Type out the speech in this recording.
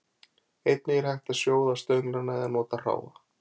einnig er hægt að sjóða stönglana eða nota hráa